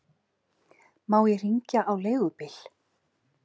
Má ég hringja á leigubíl?